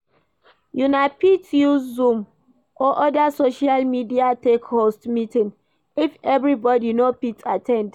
Una fit use zoom or oda social media take host meeting if everybody no fit at ten d